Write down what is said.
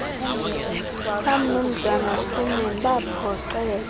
kamnumzana schoeman baphoxeka